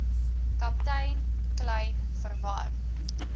kaptein kleyn verwar